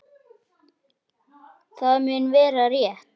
LÁRUS: Það mun vera- rétt.